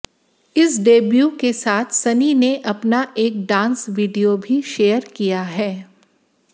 इस डेब्यू के साथ सनी ने अपना एक डांस वीडियो भी शेयर किया है